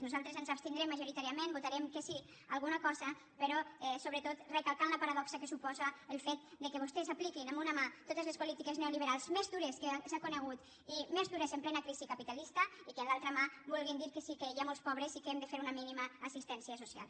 nosaltres ens abstindrem majoritàriament votarem que sí alguna cosa però sobretot recalcant la paradoxa que suposa el fet que vostès apliquin amb una mà totes les polítiques neoliberals més dures que s’han conegut i més dures en plena crisi capitalista i que amb l’altra mà vulguin dir que sí que hi ha molts pobres i que hem de fer una mínima assistència social